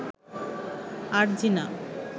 Arjina